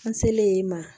An selen yen ma